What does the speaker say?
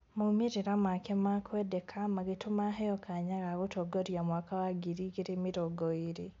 Maumĩrĩra make ma kwendeka magĩtũma aheyo kanya ga gũtongoria mwaka wa ngiri igĩrĩ mĩrongo ĩrĩ